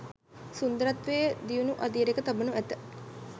සුන්දරත්වය දියුණු අදියරක තබනු ඇත.